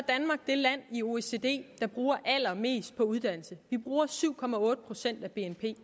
det land i oecd der bruger allermest på uddannelse vi bruger syv procent af bnp